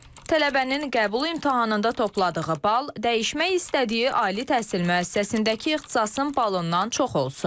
Tələbənin qəbul imtahanında topladığı bal dəyişmək istədiyi ali təhsil müəssisəsindəki ixtisasın balından çox olsun.